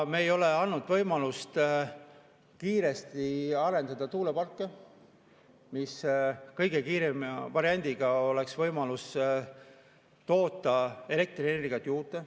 Me ei ole andnud võimalust kiiresti arendada tuuleparke, mis kõige kiirema variandina oleks võimalus toota elektrienergiat juurde.